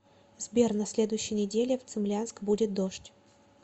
сбер на следующей неделе в цимлянск будет дождь